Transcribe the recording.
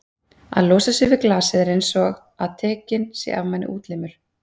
að losa sig við glasið er einsog að tekinn sé af manni útlimur.